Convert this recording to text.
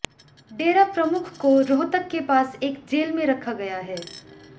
डेरा प्रमुख को रोहतक के पास एक जेल में रखा गया है